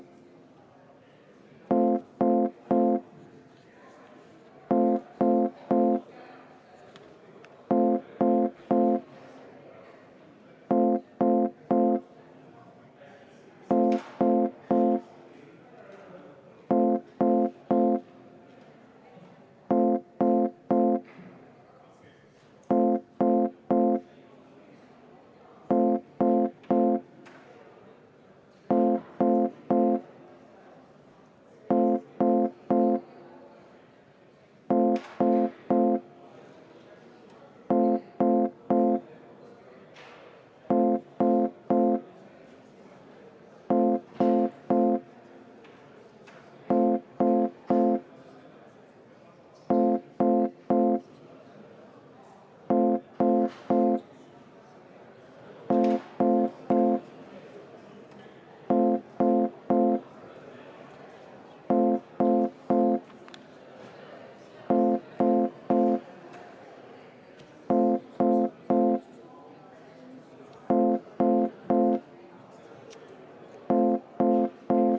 Tähelepanu!